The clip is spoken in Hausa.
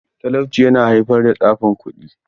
Talauci yana haifar da tsafin kuɗi.